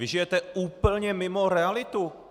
Vy žijete úplně mimo realitu!